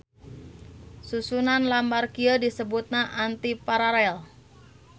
Susunan lambar kieu disebutna antiparalel.